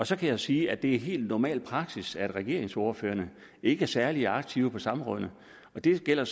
så kan jeg sige at det er helt normal praksis at regeringsordførerne ikke er særlig aktive på samrådene og det gælder